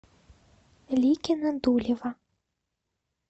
ликино дулево